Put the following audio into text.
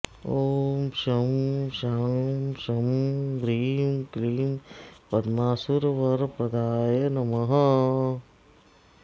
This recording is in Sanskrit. ॐ शं शां षं ह्रीं क्लीं पद्मासुरवरप्रदाय नमः